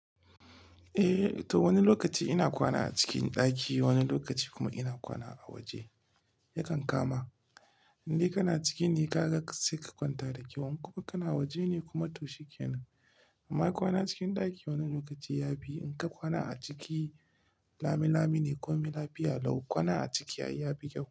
Eh, to wani lokaci ina kwana a cikin ɗaki, wani lokaci kuma ina kwana a waje. Yakan kama, in dai kana ciki ne, ka ga sai ka kwanta da kyau. In kuma kana waje ne kuma to shikenan. Amma kwana cikin ɗaki wani lokaci ya fi. In ka kwana a ciki, lami-lami ne. Ko mai lafiya lau. Kwana a ciki ya fi kyau.